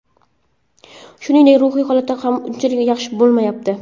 Shuningdek, ruhiy holat ham unchalik yaxshi bo‘lmayapti.